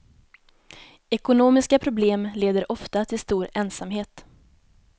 Ekonomiska problem leder ofta till stor ensamhet.